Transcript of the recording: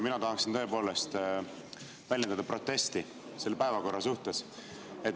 Mina tahaksin tõepoolest väljendada protesti selle päevakorra suhtes.